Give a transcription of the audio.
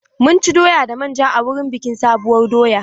Mun ci doya da manja a wurin bikin sabuwar doya.